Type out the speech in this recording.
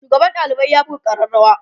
shugaban ɗalibai ya buga arrarawa